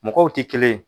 Mɔgɔw tɛ kelen ye